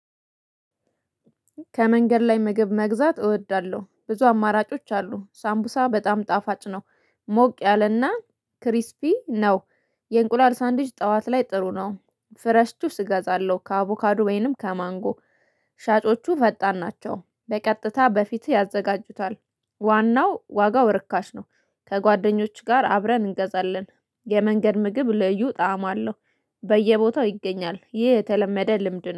ከመንገድ ላይ ምግብ መግዛት እወዳለሁ ብዙ አማራጮች አሉ ሳምቡሳ በጣም ጣፋጭ ነው ሞቅ ያለና ክሪስፒ ነው። የእንቁላል ሳንድዊች ጠዋት ላይ ጥሩ ነው ፍሬሽ ጁስ እገዛለሁ ከአቮካዱ ወይንም ከማንጎ። ሻጮቹ ፈጣን ናቸው በቀጥታ በፊትህ ያዘጋጁታል። ዋናው ዋጋው ርካሽ ነው። ከጓደኞች ጋር አብረን እንገዛለን የመንገድ ምግብ ልዩ ጣዕም አለው። በየቦታው ይገኛል ይህ የተለመደ ልምድ ነው